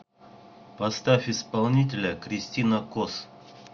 поставь исполнителя кристина кос